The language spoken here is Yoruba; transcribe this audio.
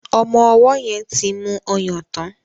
Omó owó yen tí mú ọyàn tán.